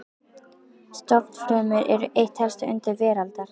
Stofnfrumur eru eitt helsta undur veraldar.